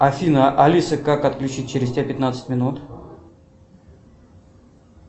афина алиса как отключить через тебя пятнадцать минут